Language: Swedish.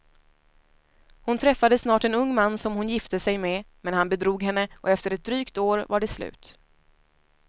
Hon träffade snart en ung man som hon gifte sig med, men han bedrog henne och efter ett drygt år var det slut.